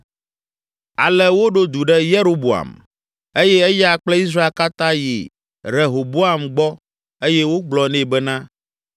Ale woɖo du ɖe Yeroboam eye eya kple Israel katã yi Rehoboam gbɔ eye wogblɔ nɛ bena,